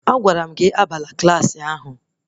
Agwara m gị abana Klassị ahụ!